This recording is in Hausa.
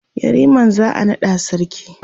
yariman za'a naɗa sarki